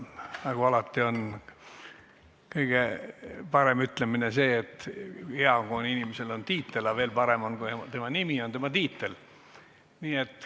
Aga on üks hea ütlemine, et hea, kui inimesel on tiitel, aga veel parem, kui tema nimi on tema tiitel.